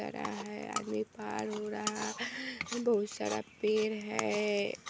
तरा है आदमी पार हो रहा है बहुत सारा पेड़ है।